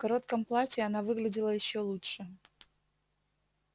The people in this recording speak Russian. в коротком платье она выглядела ещё лучше